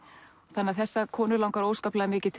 þannig að þessa konu langar óskaplega mikið